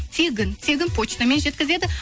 тегін тегін почтамен жеткізеді